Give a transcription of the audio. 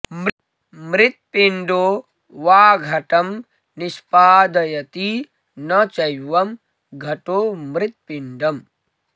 मृत्पिण्डो वा घटं निष्पादयति न चैवं घटो मृत्पिण्डम्